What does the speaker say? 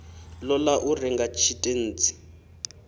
ṱo ḓa u renga tshitentsi